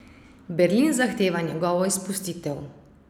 Berlin zahteva njegovo izpustitev.